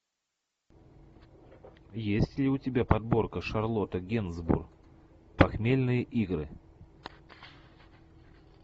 есть ли у тебя подборка шарлотта генсбур похмельные игры